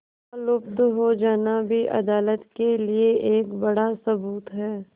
उनका लुप्त हो जाना भी अदालत के लिए एक बड़ा सबूत है